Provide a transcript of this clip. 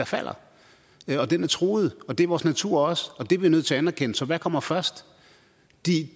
falder den er truet og det er vores natur også og det er vi nødt til at anerkende så hvad kommer først de